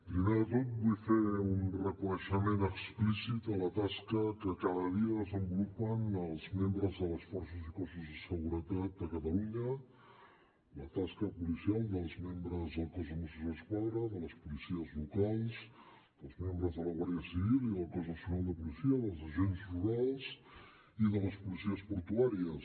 primer de tot vull fer un reconeixement explícit a la tasca que cada dia desenvolupen els membres de les forces i cossos de seguretat a catalunya la tasca policial dels membres del cos de mossos d’esquadra de les policies locals dels membres de la guàrdia civil i del cos nacional de policia dels agents rurals i de les policies portuàries